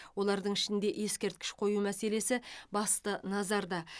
олардың ішінде ескерткіш қою мәселесі басты назарда